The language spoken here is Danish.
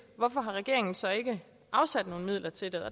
hvorfor regeringen så ikke har afsat nogen midler til det